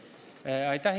Aitäh!